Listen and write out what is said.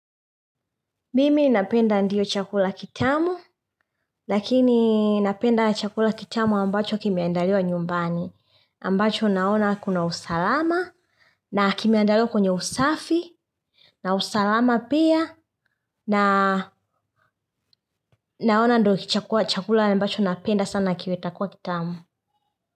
Mimi napenda ndiyo chakula kitamu, lakini napenda chakula kitamu ambacho kimeandaliwa nyumbani, ambacho naona kuna usalama, na kimeandaliwa kwenye usafi, na usalama pia, naona ndo chakula ambacho napenda sana kiwe takuwa kitamu.